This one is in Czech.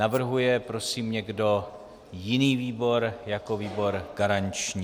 Navrhuje prosím někdo jiný výbor jako výbor garanční?